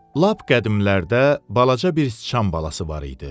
Lap qədimlərdə balaca bir sıçan balası var idi.